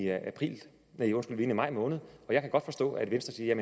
maj måned og jeg kan godt forstå at venstre siger at